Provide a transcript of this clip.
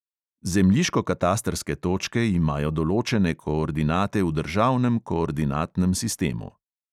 Zemljiškokatastrske točke imajo določene koordinate v državnem koordinatnem sistemu.